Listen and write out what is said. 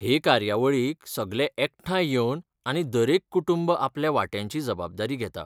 हे कार्यावळीक सगले एकठांय येवन आनी दरेक कुटुंब आपल्या वांट्याची जबाबदारी घेता.